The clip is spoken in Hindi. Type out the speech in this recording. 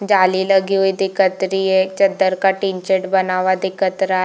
जाली लगी हुई दिखत रही है एक चद्दर का टिन शेड बना हुआ दिखत रहा है।